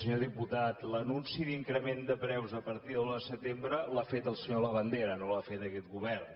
senyor diputat l’anunci d’increment de preus a partir de l’un de setembre l’ha fet el senyor labandera no l’ha fet aquest govern